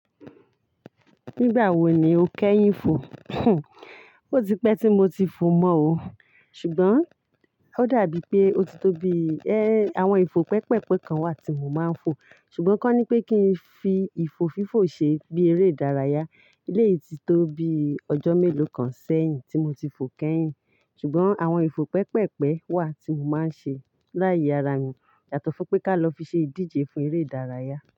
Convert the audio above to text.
Nígbà wo ni o kẹ́yìn ìfò? O ti pẹ́ tí mo ti fò mọ́ o. Ṣùgbọ́n ó dàbí pé ó ti tó bi ẹ́, àwọn ìfò pẹpẹpẹ kan wà tí mo máa ń fò. Ṣùgbọ́n kọ́ ni pé kí n fi ìfò fífò ṣe bí eré ìdárayá. Ilé yìí ti tó bi ọjọ́ mélòó kan sẹ́yìn tí mo ti fò kẹ́yìn. Ṣùgbọ́n àwọn ìfò pẹpẹpẹ wà tí mo máa ń ṣe láì ara mi. Yàtọ̀ fún pé ká lọ fi ṣe ìdíje fún eré ìdárayá.